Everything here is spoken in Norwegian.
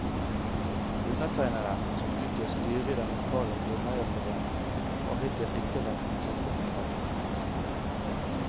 Undertegnede, som utgjør styret i den lokale grunneierforening, har hittil ikke vært kontaktet i saken.